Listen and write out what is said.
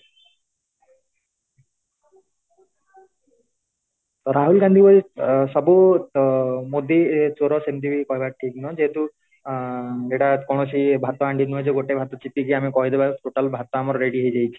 ରାହୁଲ ଗାନ୍ଧୀ ଭଳି ଅ ମୋଦୀ ଚୋର ସିନ୍ଧୀ କହିବା ଠିକ୍ ନୁହଁ ଯେହେତୁ ଆଁ ଏଇଟା କୌଣସି ଭାତ ହାଣ୍ଡି ନୁହେଁ ଯେ ଗୋଟେ ଭାତ ଚିପିକି ଆମେ କହିଦବା total ଭାତ ଆମର ready ହେଇଯାଇଛି